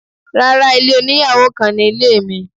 Rárá, ilé oníyàwò kan ni ilé mi.